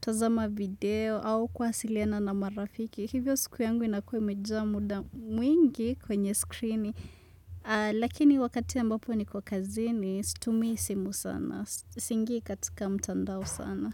tazama video au kwasiliana na marafiki. Hivyo siku yangu inakue imejaa muda mwingi kwenye skrini, lakini wakati ambapo niko kazini, stumii simu sana, siingi katika mtandao sana.